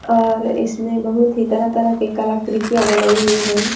और इसमें बहुत ही तरह- तरह के कलाक्रतियां बनाई हुई है।